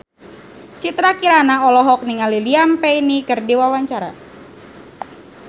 Citra Kirana olohok ningali Liam Payne keur diwawancara